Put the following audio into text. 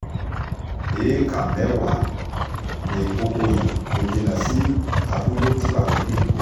éékà mẹ́wàá ni kókó yẹn kò jìnnà sí abúlé tí wákilì ń gbé